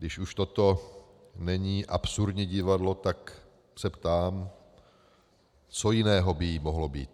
Když už toto není absurdní divadlo, tak se ptám, co jiného by jím mohlo být.